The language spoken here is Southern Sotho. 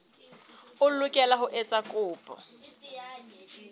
o lokela ho etsa kopo